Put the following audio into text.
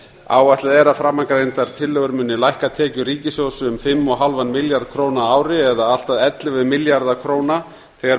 áætlað er að framangreindar tillögur muni lækka tekjur ríkissjóðs um fimmtíu og fimm milljarða króna á ári eða allt að ellefu milljarða króna þegar